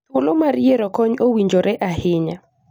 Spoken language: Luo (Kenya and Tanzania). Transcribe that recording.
Thuolo mar yiero kony owinjore ahinya